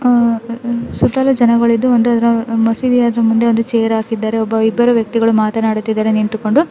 ಆಹ್ ಸುತ್ತಲೂ ಜನಗಳಿದ್ದು ಒಂದು ಅದ್ರ ಮಸೀದಿಯ ಮುಂದೆ ಒಂದು ಚೇರ್ ಹಾಕಿದ್ದಾರೆ ಒಬ್ಬ ಇಬ್ಬರು ವ್ಯಕ್ತಿಗಳು ಮಾತನಾಡುತ್ತಿದ್ದಾರೆ ನಿಂತುಕೊಂಡು.